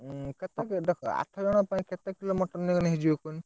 କେତେ KG ଦରକାର ଆଠ ଜଜଙ୍କ ପାଇଁ କେତେ କିଲୋ mutton ନେଇଗନେ ହେଇଯିବ କୁହନି?